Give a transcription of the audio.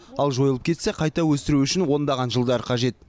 ал жойылып кетсе қайта өсіру үшін ондаған жылдар қажет